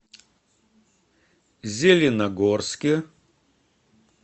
зеленогорске